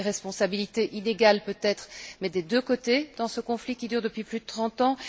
Il y a des responsabilités, inégales peut être, mais des deux côtés dans ce conflit qui dure depuis plus de trente ans.